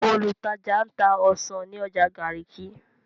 Olùtajà ń ta ọsàn ní ọjà Garki.